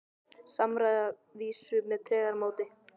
Samræður að vísu með tregara móti.